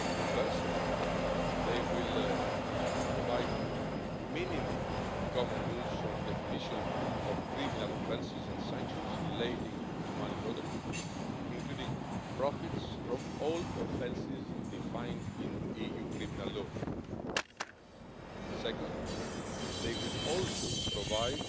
First, they will provide minimum common rules on the definition of criminal offences and sanctions relating to money laundering, including profits from all offences defined in EU criminal law. Second, they will also provide